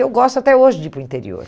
E eu gosto até hoje de ir para o interior.